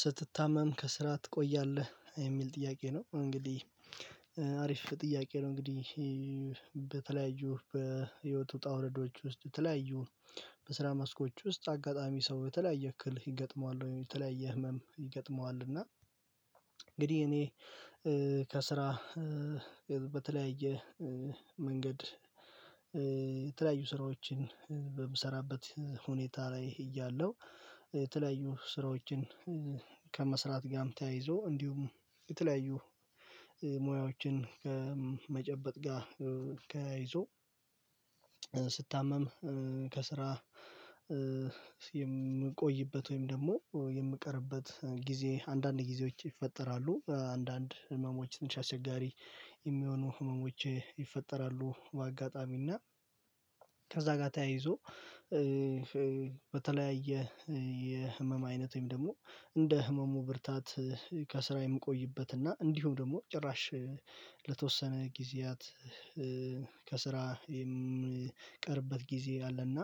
ስትታመም ከስራ ትቆያለህ የሚል ጥያቄ ነው። እንግዲህ አሪፍ ጥያቄ ነው። እንግዲህ በተለያዩ በህይወት ውጣ ውረዶች ውስጥ ተለያዩ በስራ መስኮች ውስጥ አጋጣሚ ሰው የተለያየ እክል ይገጥመዋል፤ ወይም የተለያየ ህመም ይገጥመዋል፤ እና እንግዲህ እኔ እ- ከስራ እ- በተለያየ እ- መንገድ እ ስራዎችን በምሰራበት ሁኔታ ላይ እያለሁ፤ የተለያዩ ስራዎችን እ- ከመስራት ጋም ተያይዞ እንዲሁም የተለያዩ እ- ሙያዎችን መጨበጥ ጋ እ ተያይዞ ስታመም እ- ከስራ እ የምንቆይበት ወይም ደግሞ የምቀርበት ጊዜ አንዳንድ ጊዜዎች ይፈጠራሉ። አንዳንድ ህመሞች ትንሽ አስቸጋሪ የሚሆኑ ህመሞች ይፈጠራሉ በአጋጣሚና፤ ከዛ ጋር ተያይዞ እ-እ በተለያየ የህመም አይነት ወይም ደግሞ እንደ ህመሙ ብርታት እ ከስራ የምቆይበት እና እንዲሁም ደግሞ ጭራሽ ለተወሰነ ጊዜያት እ- ከስራ የምቀርበት ጊዜ አለና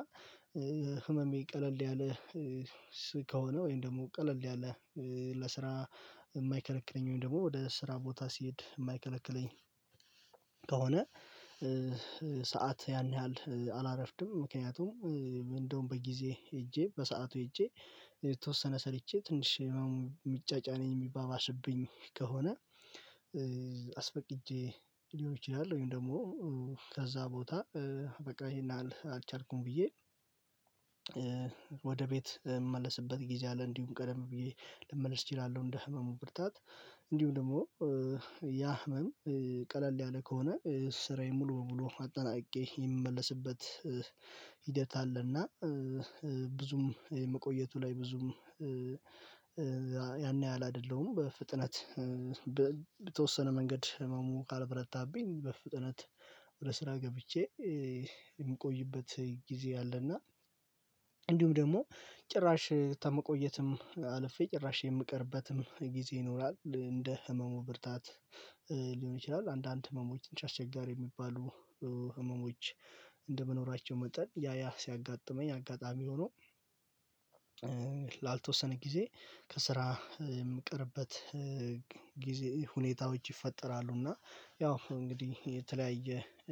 እ ህመሜ ቀለል ያለ እ-ስ- ከሆነ ወይም ደግሞ ቀለል ያለ እ ለስራ የማይከረክረኝ ወይም ደግሞ ወደ ስራ ቦታ ሲሄድ የማይከለክለኝ ከሆነ እ-እ ሰዓት ያን ያህል አላረፍድም፤ ምክንያቱም እንደውም በጊዜ ሄጄ፤ በሰአቱ ሄጄ፤ የተወሰነ ሰርቼ ትንሽ ምጫጫነኝ የሚባባሽብኝ ከሆነ እ አስፈቅጄ ሊሆን ይችላል፤ ወይም ደግሞ እም- ከዛ ቦታ በቃ ይሄን አልቻልኩም ብዬ እ ቤት እመለስበት ጊዜ አለ፤ እንዲሁም ቀደም ብዬ ልመልስ እችላለሁ፤ እንደ ህመሙ ብርታት እንዲሁም ደግሞ እ ያ! ህመም እ- ቀለል ያለ ከሆነ ስራዬን ሙሉ በሙሉ አጠናቅቄ የምመለስበት። እ ሂደት አለና እ- እ፣ ብዙም የመቆየቱ ላይ ብዙም እ- እ ያን ያህል አይደለሁም በፍጥነት እ- በ በተወሰነ መንገድ ህመሙ ካልበረታብኝ በፍጥነት ወደ ስራ ገብቼ እ- የምቆይበት ጊዜ አለና። እንዲሁም ደግሞ ጭራሽ ተመቆየትም አልፌ ጭራሽ የምቀርበትም ጊዜ ይኖራል። እንደ ህመሙ ብርታት ሊሆን ይችላል። አንዳንድ ህመሞች አስቸጋሪ የሚባሉ እ ህመሞች እንደመኖራቸው መጠን ያያ ሲያጋጥመኝ አጋጣሚ ሆኖ ጭረ ላልተወሰነ ጊዜ ከስራ የምቀርበት ጊዜ ሁኔታዎች ይፈጠራሉ፤ እና ያው እንግዲህ የተለያየ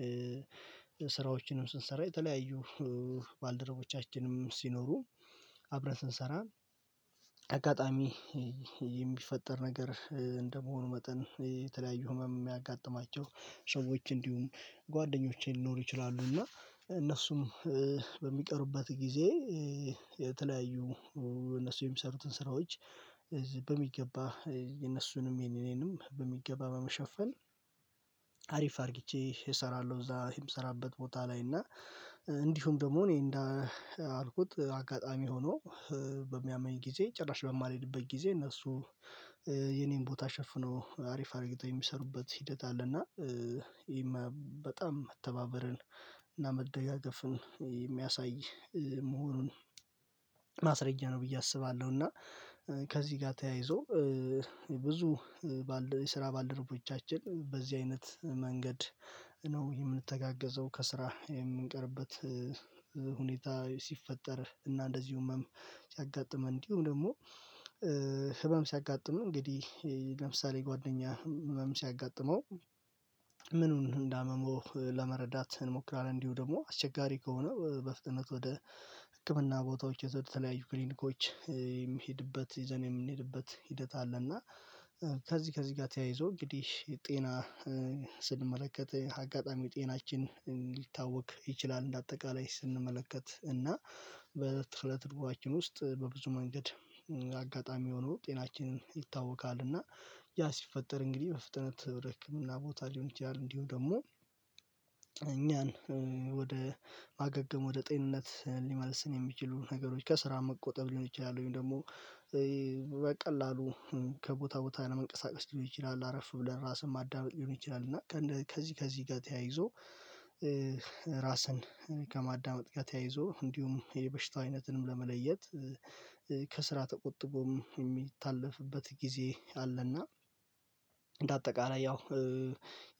እ- ስራዎችንም ስንሰራ የተለያዩ ባልደረቦቻችንም ሲኖሩ አብረን ስንሰራ አጋጣሚ የሚፈጠር ነገር እንደመሆኑ መጠን የተለያዩ ህመም የሚያጋጥማቸው ሰዎች እንዲሁም ጓደኞቼን ሊኖሩ ይችላሉ፤ እና እነሱም እ-በሚቀሩበት ጊዜ እ የተለያዩ እሁ- እነሱ የሚሰሩትን ስራዎች እዚህ በሚገባ የነሱንም የኔንም በሚገባ በመሸፈን እ አሪፍ አድርጊቼ እሰራለሁ፤ እዛ የምሰራበት ቦታ ላይ እና እ እንዲሁም ደግሞ እኔ እንዳልኩት አጋጣሚ ሆኖ በሚያመኝ ጊዜ፤ ጭራሽ በማልሄድበት ጊዜ፤ እነሱ የኔን ቦታ ሸፍነው አሪፍ አድርገጊተው የሚሰሩበት ሂደት አለና እ ይሄማ! በጣም መተባበርን እና መደጋገፍን የሚያሳይ እ- መሆኑን አ ማስረጃ ነው ብዬ አስባለሁ፤ እና ከዚህ ጋር ተያይዞ እ- ብ ብዙ እ- የስራ ባልደረቦቻችን በዚህ አይነት መንገድ እ ነው የምንተጋገዘው ከስራ የምንቀርበት ሁኔታ ሲፈጠር፤ እና እንደዚሁ ህመም ሲያጋጥመን እንዲሁም ደግሞ ህ- ህመም ሲያጋጥም እንግዲህ ለምሳሌ፦ ጓደኛ ህመም ሲያጋጥመው ግ ምኑን እንዳመመው ለመረዳት እንሞክራለን፤ እንዲሁ ደግሞ አስቸጋሪ ከሆነ በፍጥነት ወደ ህክምና ቦታዎች የተለያዩ ክሊኒኮች የሚሄድበት ይዘን የምንሄድበት ሂደት አለ እና እ ከዚህ ከዚህ ጋር ተያይዞ እንግዲህ፤ የጤና ስንመለከት አጋጣሚ ጤናችን ሊታወቅ ይችላል። እንደ አጠቃላይ ስንመለከት እና በትልቅ ድርጊቶች ውስጥ በብዙ መንገድ አጋጣሚ ሆኖ ጤናችንን ይታወካል፤ እና ያ! ሲፈጠር እንግዲህ በፍጥነት ወደ ህክምና ቦታ ሊሆን ይችላል፤ እንዲሁ ደግሞ እኛን ወደ ማገገም ወደ ጤንነት ሊመልስል የሚችሉ ነገሮች ከስራ መቆጠብ ሊሆን ይችላል፤ ወይም ደግሞ እ-በቃ ከቦታ ቦታ መንቀሳቀስ ሊሆን ይችላል፤ አረፍ ብለን ራስን ማዳመጥ ሊሆን ይችላል፤ እና ከዚህ ከዚህ ጋር ተያይዞ እ ራስን ከማዳመጥ ጋር ተያይዞ እንዲሁም የበሽታው አይነትንም ለመለየት፤ እ ከስራ ተቆጥቦም የሚታለፍበት ጊዜ አለና። እንደ አጠቃላይ ያው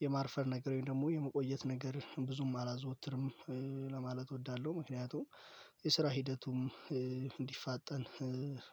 የማርፈር ነገር ወይም ደግሞ የመቆየት ነገር ብዙም አላዘወትርም እ- ለማለ እወዳለሁ ምክንያቱም የስራ ሂደቱም እ- እንዲፋጠን እ